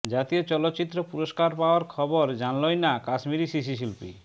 জাতীয় চলচ্চিত্র পুরস্কার পাওয়ার খবরই জানল না কাশ্মীরি শিশুশিল্পী